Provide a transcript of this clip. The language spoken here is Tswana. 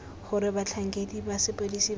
gore batlhankedi ba sepodisi ba